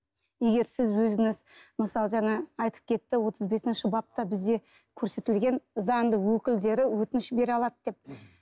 егер сіз өзіңіз мысалы жаңа айтып кетті отыз бесінші бапта бізде көрсетілген заңды өкілдері өтініш бере алады деп